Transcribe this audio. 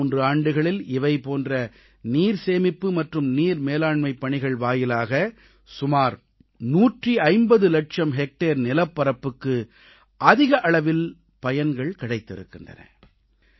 கடந்த மூன்று ஆண்டுகளில் இவை போன்ற நீர்சேமிப்பு மற்றும் நீர் மேலாண்மைப் பணிகள் வாயிலாக சுமார் 150 லட்சம் ஹெக்டேர் நிலப்பரப்புக்கு அதிக அளவில் பயன்கள் கிடைத்திருக்கின்றன